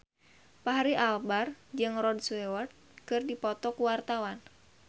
Fachri Albar jeung Rod Stewart keur dipoto ku wartawan